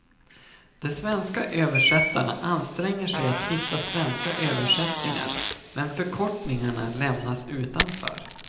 De svenska översättarna anstränger sig att hitta svenska översättningar, men förkortningarna lämnas utanför.